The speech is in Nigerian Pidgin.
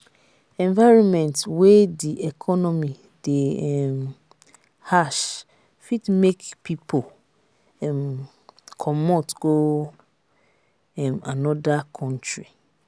environment wey di economy de um harsh fit make pipo um comot go um another country